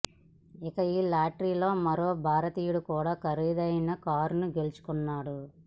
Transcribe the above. ఇక ఈ లాటరీలో మరో భారతీయుడు కూడా ఖరీదైన కారును గెలుచుకున్నాడు